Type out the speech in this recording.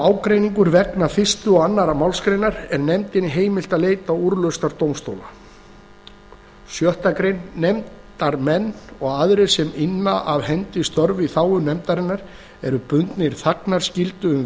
ágreiningur vegna fyrstu og annarri málsgrein er nefndinni heimilt að leita úrlausnar dómstóla sjöttu grein nefndarmenn og aðrir sem inna af hendi störf í þágu nefndarinnar eru bundnir þagnarskyldu um